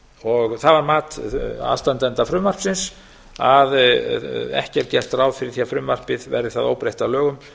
það var mat aðstandenda frumvarpsins að ekki er gert ráð fyrir því að frumvarpið verði það óbreytt að lögum